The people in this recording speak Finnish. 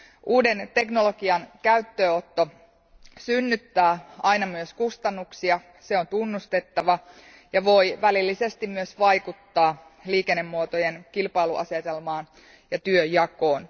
Uuden teknologian käyttöönotto synnyttää aina myös kustannuksia, se on tunnustettava ja voi välillisesti myös vaikuttaa liikennemuotojen kilpailuasetelmaan ja työnjakoon.